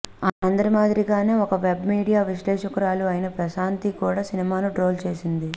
అందరి మాదిరిగానే ఒక వెబ్ మీడియా విశ్లేషకురాలు అయిన ప్రశాంతి కూడా సినిమాను ట్రోల్ చేసింది